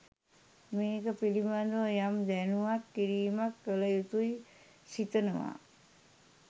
මේක පිලිබඳව යම් දැනුවත් කිරිමක් කලයුතුයි සිතනවා.